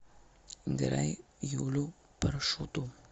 играй юлю паршуту